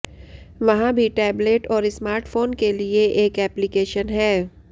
वहाँ भी टैबलेट और स्मार्ट फ़ोन के लिए एक एप्लिकेशन है